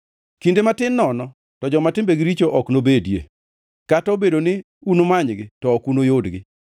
Kinde matin nono to joma timbegi richo ok nobedie; kata obedo ni unumanygi to ok unuyudgi.